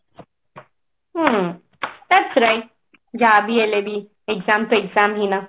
ହୁଁ that's right ଯାହାବି ହେଲେ ବି exam ତ exam ହିଁ ନା